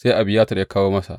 Sai Abiyatar ya kawo masa.